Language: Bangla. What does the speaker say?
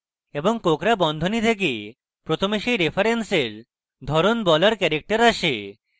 এবং কোঁকড়া বন্ধনী থেকে প্রথমে সেই রেফারেন্সের ধরন বলার ক্যারেক্টার আসে